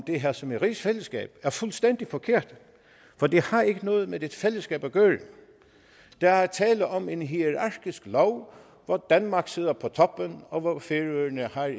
det her som et rigsfællesskab er fuldstændig forkert for det har ikke noget med et fællesskab at gøre der er tale om en hierarkisk lov hvor danmark sidder på toppen og hvor færøerne er